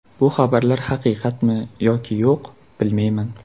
Bu xabarlar haqiqatmi yoki yo‘q, bilmayman.